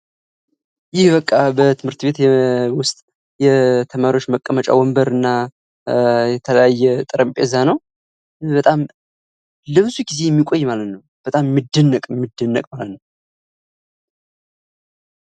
ይህ በቃ በትምህርት ቤት ዉስጥ የተማሪዎች መቀመጫ ወንበር እና የተለያ ጠረጴዛ ነው ፤ በጣም ለብዙ ጊዜ የሚቆይ ማለት ነው። በጣም የሚደነቅ ማለት ነው።